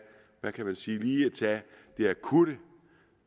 hvad kan man sige det akutte